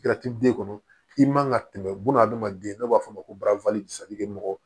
den kɔnɔ i man ka tɛmɛ buna hadamaden na b'a fɔ o ma ko mɔgɔ